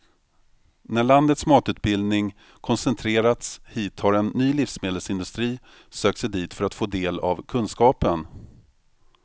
När landets matutbildning koncentrerats hit har en ny livsmedelsindustri sökt sig dit för att få del av kunskapen.